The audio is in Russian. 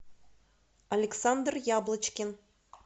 александр яблочкин